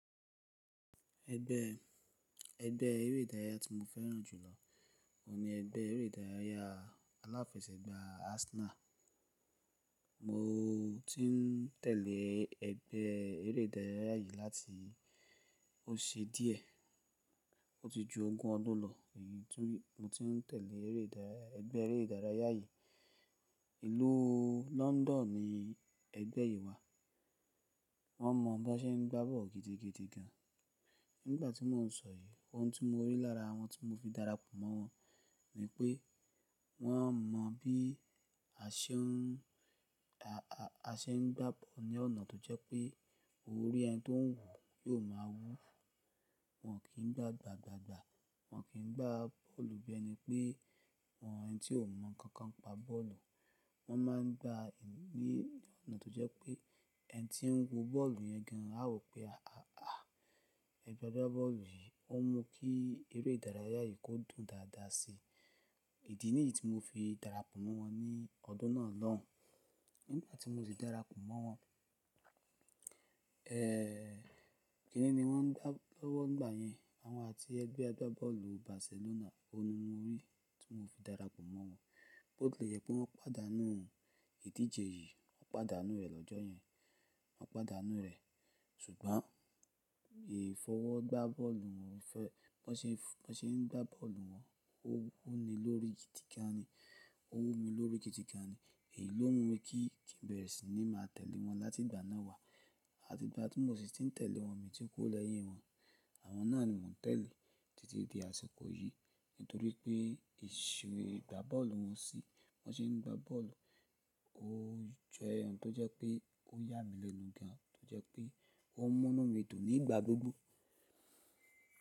Ẹgbẹ́, ẹgbẹ́ eré ìdárayá tí mo fẹ́ràn jù lọ ni ẹgbẹ́ eré ìdárayá aláfẹsẹ̀gbá Arsenal. Mo ti ń tẹ̀lé ẹgbẹ́ eré ìdárayá yìí láti ó ṣe díẹ̀. O ti ju ọgun ọdún ti mo ti ń tẹ̀lé eré ìdárayá, ẹgbẹ́ eré ìdárayá yìí. Ìlú London ni ẹgbẹ́ yìí wà. Wọ́n mọ bí wọ́n ṣe ń gbá bọ́ọ̀lù gidigidi gan. Nígbà tí mò ń sọ yí, ohun tí mo rí lára wọn tí mo fi darapọ̀ mọ́ wọn ni pé wọ́n mọ bí a ṣe ń, a, a, a ṣe ń gbá bọ́ọ̀lù ní ọ̀nà tó jẹ́ pé orí ẹni tó ń wò ó máa wú. Wọn kì ń gbá gbàagbaagbà, wọ́n kì ń gbá bọ́ọ̀lù bí ẹni pé àwọn ẹni tí ò mọ nǹkan kan pa bọ́ọ̀lù. Wọ́n máa ń gbá ní ọ̀nà tó jẹ́ pé ẹni tí ń wo bọ́ọ̀lù yẹn gíran á wò pé "à, à, à, ẹgbẹ́ agbá bọ́ọ̀lù yìí ó mú kí eré ìdárayá yìí kó dùn dáadáa sí i." Ìdí nìyí tí mo fi darapọ̀ mọ́ wọn ní ọdún náà lọ́hùn. Nígbà tí mo ti darapọ̀ mọ́ wọn, kíni ni wọ́n ń gbá lọ́wọ́ nígbà yẹn àwọn àti ẹgbẹ́ agbá bọ́ọ̀lù Barcelona. Ohun ni mo rí tí mo fi darapọ̀ mọ́ wọn. Bó tilẹ̀ jẹ pé wọ́n padà nu ìdíje yìí, wọ́n padà nu rẹ̀ lọ́jọ́ yẹn, wọ́n padà nu rẹ̀. Ṣùgbọ́n ìfọwọ́ gbá bọ́ọ̀lù wọn fẹ́, bí wọ́n ṣe ń, wọ́n ṣe ń gbá bọ́ọ̀lù wọn ó wuni lórí kídiganani, ó wumi lórí kítíkani. Èyí ló mú mi kí nì bẹ́ẹ̀ sì ni máa tẹ̀lé wọn láti ìgbà náà wá. Àti ìgbà tí mo sì ti ń tẹ̀lé wọn mi tí kú o leyín wọn. Àwọn náà ni mò ń tẹ̀lé títí di àsìkò yìí. Nítorí pé ìṣeré gbá bọ́ọ̀lù wọn sì, bí wọ́n ṣe ń gbá bọ́ọ̀lù ó jẹ́ ohun tó jẹ́ pé ó yà mí lénu gan, tó jẹ́ pé ó mú nu mi dùn nígbà gbogbo.